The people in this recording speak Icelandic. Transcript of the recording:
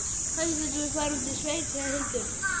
Kannski getum við farið út í sveit, sagði Hildur.